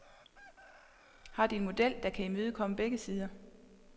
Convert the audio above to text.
Har de en model, der kan imødekomme begge sider?